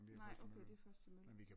Nej okay det er først til mølle